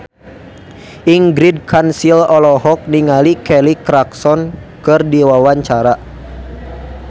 Ingrid Kansil olohok ningali Kelly Clarkson keur diwawancara